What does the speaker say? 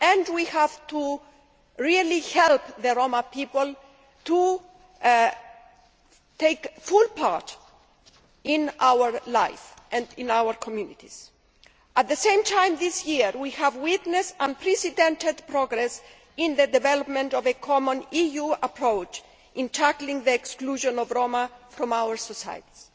We have to really help the Roma people take a full part in our life and in our communities. At the same time, this year we have witnessed unprecedented progress in the development of a common EU approach in tackling the exclusion of the Roma from our societies.